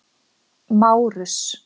Márus